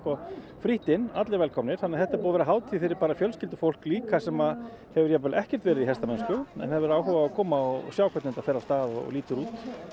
frítt inn allir velkomnir þannig þetta er búið að vera hátið fyrir fjölskyldufólk líka sem hefur jafnvel ekkert verið í hestamennsku en hefur áhuga á að koma og sjá hvernig þetta fer af stað og lítur út